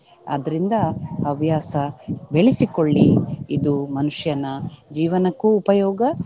ಆದ್ರಿಂದ ಹವ್ಯಾಸ ಬೆಳೆಸಿಕೊಳ್ಳಿ ಇದು ಮನುಷ್ಯನ ಜೀವನಕ್ಕೂ ಉಪಯೋಗ.